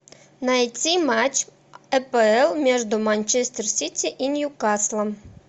найти матч апл между манчестер сити и ньюкаслом